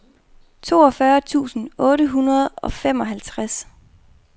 toogfyrre tusind otte hundrede og femoghalvtreds